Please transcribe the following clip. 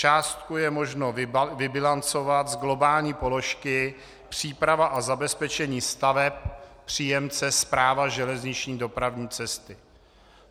Částku je možno vybilancovat z globální položky Příprava a zabezpečení staveb, příjemce Správa železniční dopravní cesty.